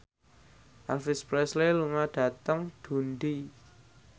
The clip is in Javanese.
Elvis Presley lunga dhateng Dundee